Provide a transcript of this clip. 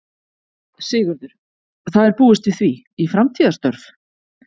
Sigurður: Það er búist við því, í framtíðarstörf?